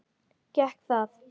Gekk það?